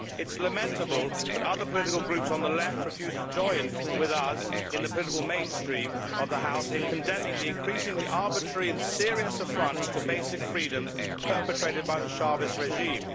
It is lamentable that other political groups on the Left refuse to join with us in the political mainstream of the House in condemning the increasingly arbitrary and serious affronts to basic freedoms perpetrated by the Chávez regime.